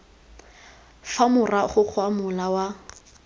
fa morago ga mola wa